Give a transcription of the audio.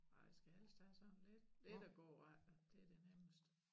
Nej jeg skal helst have sådan lidt lidt at gå af det det nemmeste